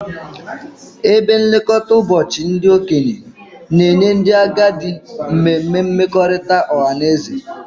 Ebe nlekọta ụbọchị ndị okenye na-enye ndị agadi mmemme mmekọrịta ọha na eze